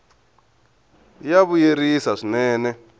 ya vuyerisa swinene